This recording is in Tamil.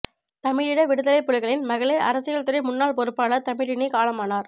தமிழீழ விடுதலைப் புலிகளின் மகளிர் அரசியல்துறை முன்னாள் பொறுப்பாளர் தமிழினி காலமானார்